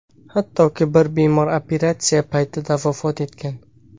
Hattoki bir bemor operatsiya paytida vafot etgan.